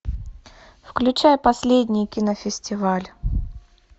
включай последний кинофестиваль